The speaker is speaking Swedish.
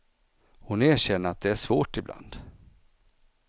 Hon erkänner att det är svårt ibland.